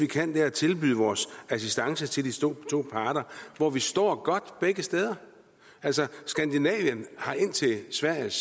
kan er at tilbyde vores assistance til de to parter hvor vi står godt begge steder altså skandinavien har indtil sveriges